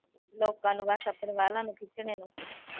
ਲੋਕਾਂ ਨੂੰ ਬਸ ਆਪਂਣੇ ਵਾਹਨਾਂ ਨੂੰ ਖਿੱਚਣੇ ਨੂੰ।